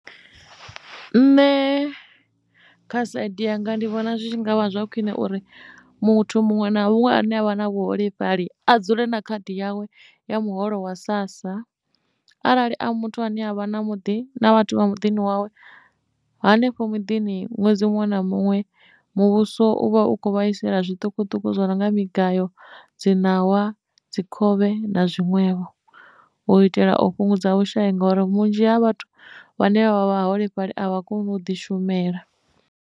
Nṋe kha saidi yanga ndi vhona zwi ngavha zwa khwine uri muthu muṅwe na muṅwe a ne a vha na vhuholefhali a dzule na khadi yawe ya muholo wa sassa arali a muthu ane avha na muḓi na vhathu vha muḓini wawe hanefho muḓini ṅwedzi muṅwe na muṅwe muvhuso uvha ukho vhaisala zwiṱukuṱuku zwo no nga migayo dzi ṋawa, dzi khovhe na zwiṅwevho u itela o fhungudza vhushai ngori vhunzhi ha vhathu vhane vha vha vha holefhali a vha koni u ḓi shumela.